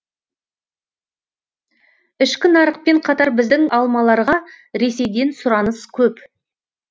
ішкі нарықпен қатар біздің алмаларға ресейден сұраныс көп